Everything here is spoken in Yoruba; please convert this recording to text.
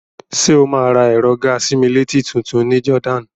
Ṣé o máa ra ẹ̀rọ gàa-sí-mí-létí tutun ní Jordan?